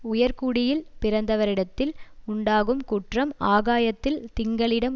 உயர் குடியில் பிறந்தவரிடத்தில் உண்டாகும் குற்றம் ஆகாயத்தில் திங்களிடம்